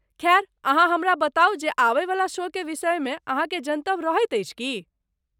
खैर, अहाँ हमरा बताउ जे आबयवला शो के विषयमे अहाँकेँ जनतब रहैत अछि की?